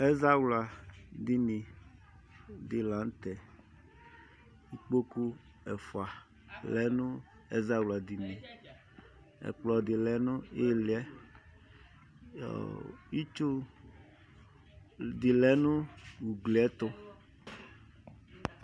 ɛzawla dini dila nʋtɛ ikpokʋ ɛƒʋa lɛ nʋ ɛzawla dinie ɛkplɔdi lɛ niyiliɛ itsʋ dilɛ nʋ ʋgliɛtʋ